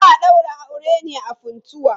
Za a daura auren ne a Funtua.